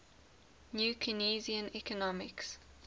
new keynesian economics